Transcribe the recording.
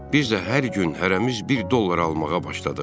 Biz də hər gün hərəmiz bir dollar almağa başladıq.